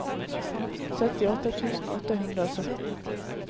syttiåtte tusen åtte hundre og sytten